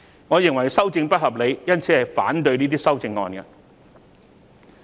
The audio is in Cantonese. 我認為修訂不合理，因此會反對這些修正案。